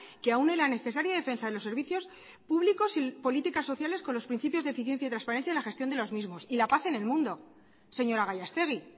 que aúne la necesaria defensa de los servicios públicos y políticas sociales con los principios de eficiencia y transparencia en la gestión de los mismos y la paz en el mundo señora gallastegui